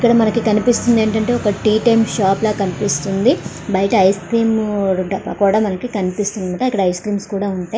ఇక్కడ మనకి కనిపిస్తుంది ఏంటంటే ఒక టీ టైమ్ షాప్ లాగా కనిపిస్తుంది బయట ఐస్క్రీం కూడా మనకి కనిపిస్తుంది అక్కడ ఐస్క్రీమ్లు కూడా ఉంటాయ్.